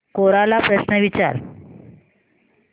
कोरा ला प्रश्न विचार